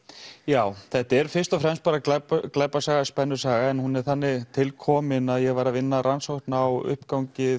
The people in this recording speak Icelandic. já þetta er fyrst og fremst bara glæpasaga glæpasaga spennusaga en hún er þannig til kominn að ég var að vinna rannsókn á uppgangi